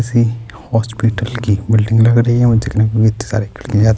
ایسی ہسپتال کی بلڈنگ لگ رہی ہے اور دیکھنے مے بھی اتنے سارے--